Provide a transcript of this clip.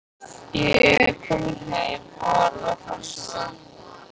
Ég er kominn heim og alveg að fara að sofa.